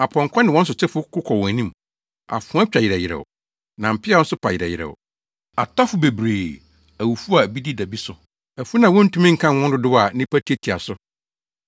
Apɔnkɔ ne wɔn sotefo ko kɔ wɔn anim; afoa twa yerɛw yerɛw, na mpeaw nso pa yerɛw yerɛw. Atɔfo bebree, awufo a bi deda bi so, afunu a wontumi nkan wɔn dodow a nnipa tiatia so.